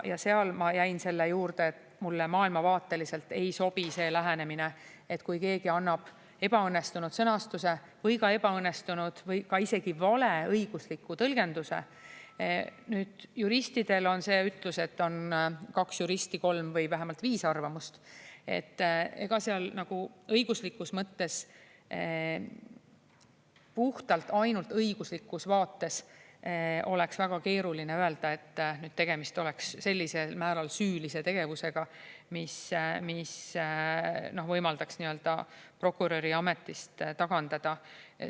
Ja seal ma jäin selle juurde, et mulle maailmavaateliselt ei sobi see lähenemine, et kui keegi annab ebaõnnestunud sõnastuse või ka ebaõnnestunud või isegi vale õigusliku tõlgenduse – juristidel on see ütlus, et kui on kaks juristi, siis on vähemalt kolm või viis arvamust –, siis õiguslikus mõttes, puhtalt ainult õiguslikus vaates oleks väga keeruline öelda, et tegemist on sellisel määral süülise tegevusega, mis võimaldaks prokuröri ametist tagandada.